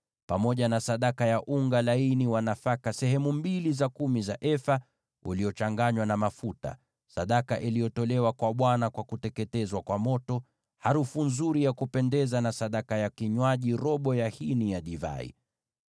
pamoja na sadaka yake ya nafaka ya sehemu mbili za kumi za efa za unga laini uliochanganywa na mafuta, sadaka iliyotolewa kwa Bwana kwa kuteketezwa kwa moto, harufu nzuri ya kupendeza, na sadaka yake ya kinywaji ya robo ya hini ya divai.